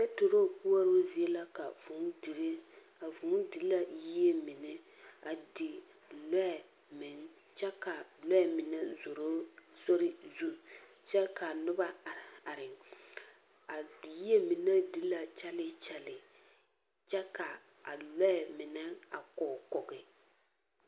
Paturoo koɔroo zie la ka vūū dire. Vūū di la yie mine, a di lɔɛ meŋ kyɛ ka lɔɛ mine a be sori zuŋ, kyɛ ka noba are, are. A yie mine di la kyɛle kyɛle. Kyɛ ka a lɔɛ mine a kɔge kɔge.